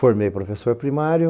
Formei professor primário.